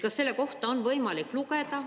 Kas selle kohta on võimalik lugeda?